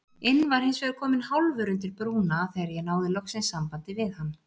inn var hinsvegar kominn hálfur undir brúna þegar ég náði loks sambandi við hann.